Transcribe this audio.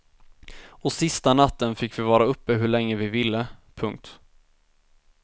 Och sista natten fick vi vara uppe hur länge vi ville. punkt